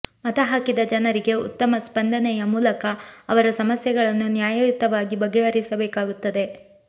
ಮತ ಹಾಕಿದ ಜನರಿಗೆ ಉತ್ತಮ ಸ್ಪಂದನೆಯ ಮೂಲಕ ಅವರ ಸಮಸ್ಯೆಗಳನ್ನು ನ್ಯಾಯಯುತವಾಗಿ ಬಗೆಹರಿಸಬೇಕಾಗುತ್ತದೆ